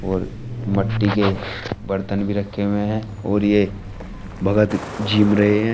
और मट्टी के बर्तन भी रखे हुए हैं और ये भगत रहे हैं।